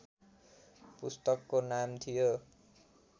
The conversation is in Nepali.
पुस्तकको नाम थियो